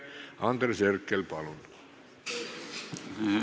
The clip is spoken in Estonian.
Andres Herkel, palun!